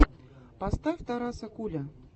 поставь тараса куля